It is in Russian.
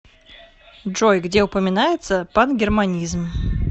джой где упоминается пангерманизм